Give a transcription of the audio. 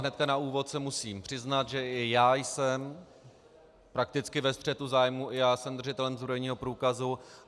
Hned na úvod se musím přiznat, že i já jsem prakticky ve střetu zájmů, i já jsem držitelem zbrojního průkazu.